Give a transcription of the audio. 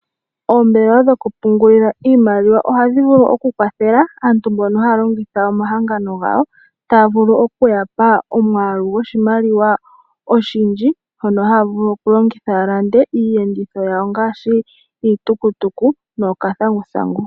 Oombelewa dhokupungulila iimaliw ohadhi vulu kukwathela aantu mbono ha longitha omahangano gawo taa vulu okuyapa omwaalu gwoshimaliwa oshindji mono haa vulu okuland iiyenditho yawo ngaashi iitukutuku nuuthanguthangu.